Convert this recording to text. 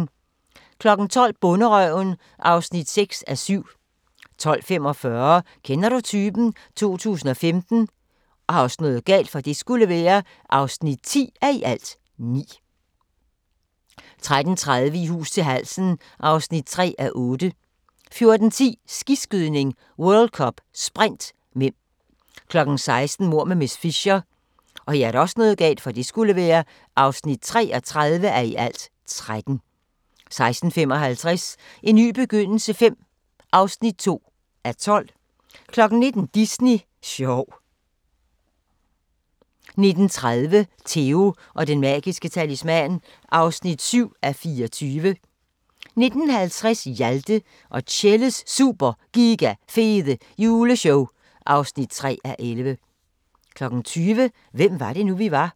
12:00: Bonderøven (6:7) 12:45: Kender du typen? 2015 (10:9) 13:30: I hus til halsen (3:8) 14:10: Skiskydning: World Cup - Sprint (m) 16:00: Mord med miss Fisher (33:13) 16:55: En ny begyndelse V (2:12) 19:00: Disney sjov 19:30: Theo & Den Magiske Talisman (7:24) 19:50: Hjalte og Tjelles Super Giga Fede Juleshow (3:11) 20:00: Hvem var det nu, vi var?